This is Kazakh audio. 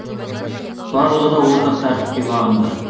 барлығы да ортақ тәртіпке бағынды